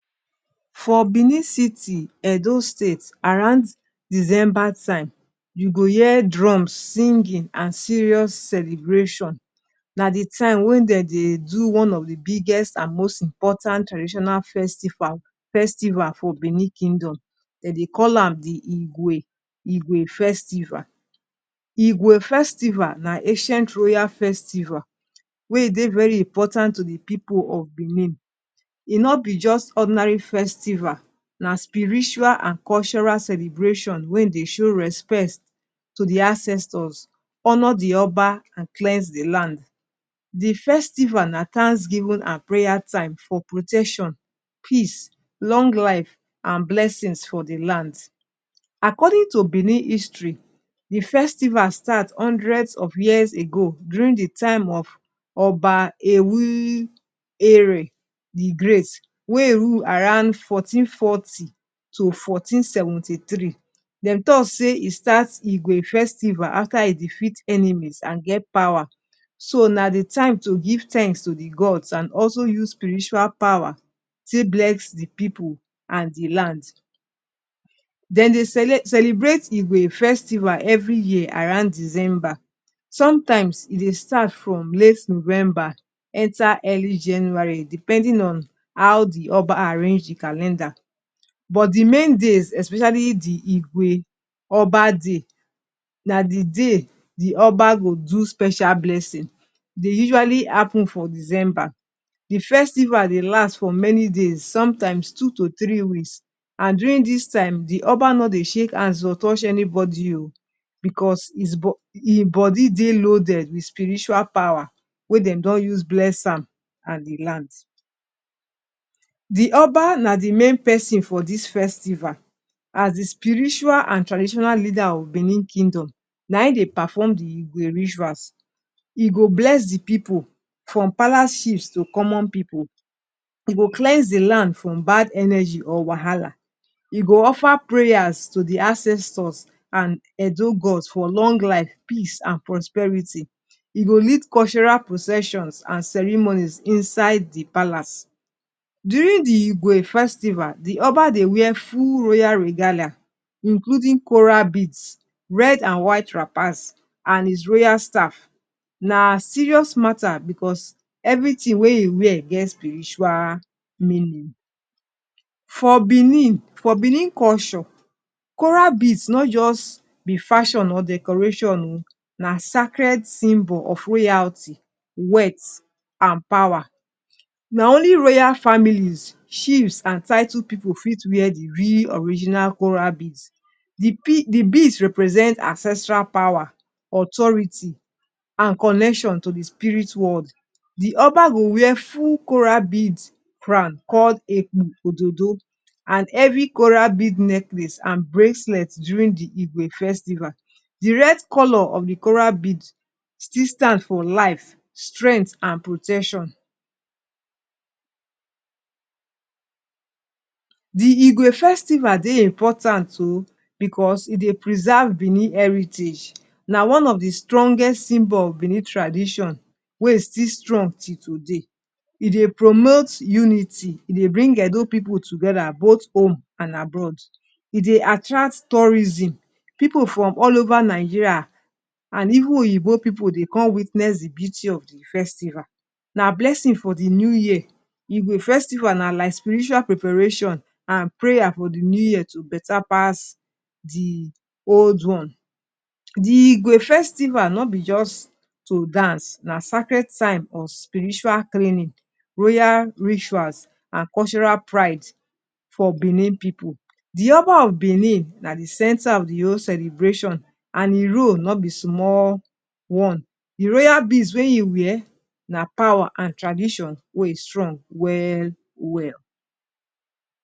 For Benin City, Edo State, around December time, u go hear drums, singing, and serious celebration, na d time wen dey do one of di biggest and most important traditional festival for Benin Kingdom, dem dey call am di Igwe igwe Festival. Igwe Festival, na ancient royal festival, wey e Dey very important to di people of Benin. e no be just ordinary festival. Na spiritual and cultural celebration wey dey show respect to d ancestors, honour d Oba, and cleanse d land. D festival Na tansgiven an prayer time for protection, peace, long life, and blessings for d lands. According to Benin history, di festival start hundreds of years ago during d time of Oba Ewu Ere, d great, wey rule around fourteen forty to fourteen seventy three. Dem talk say e start Igwe festival after e defeat enemies and get power so na di time to give tans to di god an also use spiritual power take bless di people and di land. Dem dey celebrate Igwe festival every year around december. Sometimes, e dey start from late November enter early january depending on how di Oba arrange di calendar. but di main days especially di Igwe oba day, na di day the Oba go do special blessing. e usually happen for december. di festiival dey last for many days. sometimes two to three weeks an during dis time, di oba no dey shake hands or touch anybody o because his im body dey loaded with spiritual power wey dem don use bless am and di land. di oba na the main person for dis festival as the spiritual and traditional leader of benin kingdon. na im dey perform the rituals. e go bless the pipu from palace chiefs to common pipu. e go cleanse di land from bad energy or wahala. e go offer prayers to the ancestors and edo gods for long life, peace and prosperity. e go lead cultural processions and ceremonies inside di palace. during the igwe festival, di oba dey wear full royal regalia. including coral beads, red and white wrappers and his royal staff. na serious mata becus everythin wey in wear get spiritual meaning. for benin for benin culture, coral bead no just be fashion or decoration oh na sacred symbol of royalty weath and power. na only royal familes, chiefs and title pipu fit wear di real original coral beads. the the beads represent ancestral power, authourity and connection to di spirit world. Di oba go wear full coral bead crown called eku ododo and every coral bead necklace and bracelet during di igwe festival. di red color of the coral bead still stand for life, strength an protection. Di Igwe Festival dey important oo because it dey preserve Benin heritage. Na one of d strongest symbol of Benin tradition, wey still strong till today. It dey promote unity. It dey bring edo people togeda, both home and abroad. e dey attract tourism. Pipu from all over Nigeria and even oyinboo pipu dey come witness d beauty of d festival. Na blessing for d new year, Igwe Festival na spiritual preparation. And prayer for d new year to better pass di old one. Di Igwe festival no be just to dance, Na sacred time of spiritual cleaning, Royal rituals, and cultural pride for Benin people. Di oba of Benin, na d centre of di whole celebration, and e rule no be small one. he royal beads wey e wear, not be small one. D royal beads wey e wear, Na power and tradition wey strong. Well well.